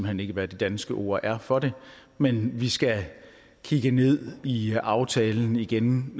hen ikke hvad det danske ord er for det men vi skal kigge ned i aftalen igen